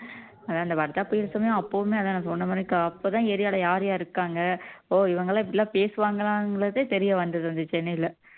அதான் அந்த வர்தா புயல் சமயம் அப்பவுமே அதான் நான் சொன்ன மாதிரி அப்பதான் ஏரியால யார் யார் இருக்காங்க ஓ இவங்க எல்லாம் இப்படி எல்லாம் பேசுவாங்களாங்கிறதே தெரிய வந்தது இந்த சென்னையில